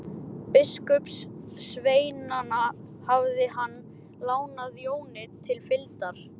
Biskupssveinana hafði hann lánað Jóni til fylgdar.